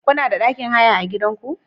Kuna da ɗakin haya a garinku?